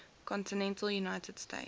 continental united states